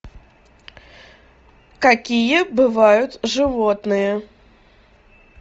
какие бывают животные